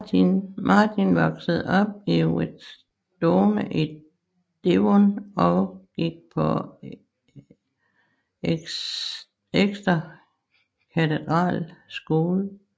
Martin voksede op i Whitestone i Devon og gik på Exeter Cathedral School